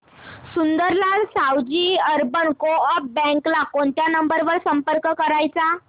Sundarlal Savji urban coop bank ला कोणत्या number वर संपर्क करायचा